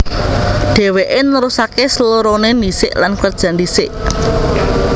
Dhèwèké nerusaké S loroné ndhisik lan kerja ndhisik